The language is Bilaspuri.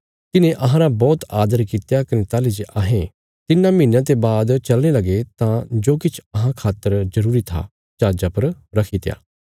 तिन्हें अहांरा बौहत आदर कित्या कने ताहली जे अहें तिन्नां महीनयां ते बाद चलने लगे तां जो किछ अहां खातर जरूरी था जहाजा पर रखीत्या